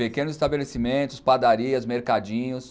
Pequenos estabelecimentos, padarias, mercadinhos.